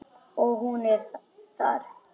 Og hún er þar.